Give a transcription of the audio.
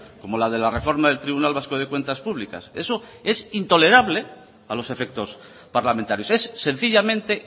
como la de la reforma del tribunal vasco de cuentas públicas eso es intolerable a los efectos parlamentarios es sencillamente